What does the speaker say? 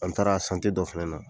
An taara dɔ fɛnɛ na.